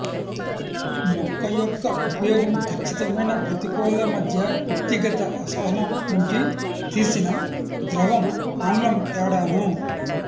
మొక్క యొక్క ఉపయోగం కచ్చితమైన ప్రతికూల మధ్య వ్యక్తిగత అసహనం నుంచి తీసిన ద్రవం ఆమ్లం తేడాను